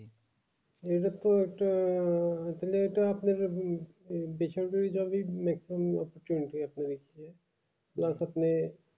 এদের তো একটা আহ তাহলে এটা আপনাকে উম বেসরকারি চাকরি চলছে আপনার এই দিকে plus আপনি